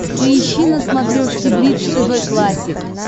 поищи на смотрешке бридж тв классик